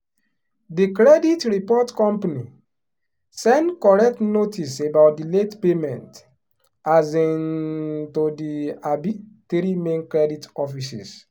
the credit report company send correct notice about the late payment um to the um three main credit offices.